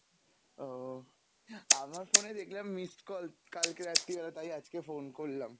ও, আমার phone e দেখলাম missed call কালকে রাত্রি বেলা তাই আজকে phone করলাম